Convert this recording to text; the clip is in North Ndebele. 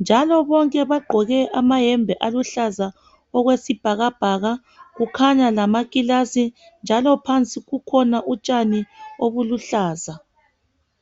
Njalo bonke bagqoke amahembe aluhlaza okwesibhakabhaka kukhanya lamakilasi, njalo phansi kukhona utshani obuluhlaza.